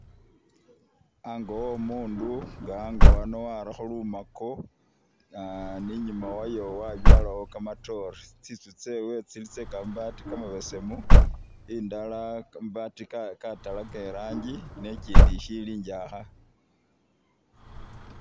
Ango wo mundu nga ango ano warakho lumako ah- ni nyuma wayo wabyalawo kamatoore, tsitsu tsewe tsili tse kamabati kamabesemu indala kamabati katalaka i rangi ne ikyindi ishili injakha.